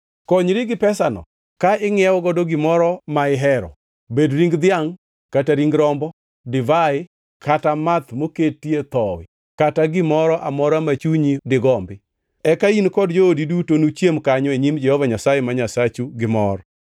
Konyri gi pesano ka ingʼiewogo gimoro ma ihero; obed ring dhiangʼ kata ring rombo, divai kata math moketo thowi kata gimoro amora ma chunyi digombi. Eka in kod joodi duto nuchiem kanyo e nyim Jehova Nyasaye ma Nyasachu gi mor.